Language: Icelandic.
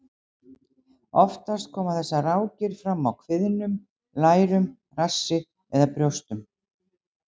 Oftast koma þessar rákir fram á kviðnum, lærum, rassi eða brjóstum.